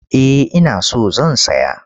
Eh ina so zan saya.